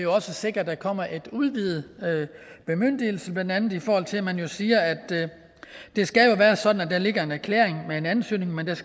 også sikrer at der kommer en udvidet bemyndigelse blandt andet i forhold til at man siger at det skal være sådan at der ligger en erklæring med en ansøgning men at